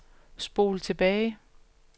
spol tilbage